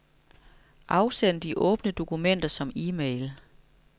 Afsend de åbne dokumenter som e-mail.